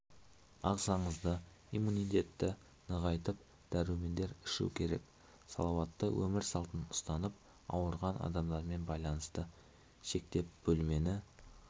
ағзаңызды иммунитетті нығайтып дәрумендер ішу керек салауатты өмір салтын ұстанып ауырған адамдармен байланысты шектеп бөлмені